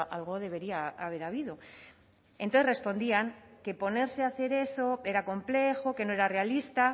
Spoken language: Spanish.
algo debería haber habido entonces respondían que ponerse a hacer eso era complejo que no era realista